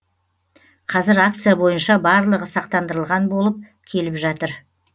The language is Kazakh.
қазір акция бойынша барлығы сақтандырылған болып келіп жатыр